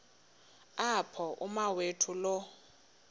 apho umawethu lo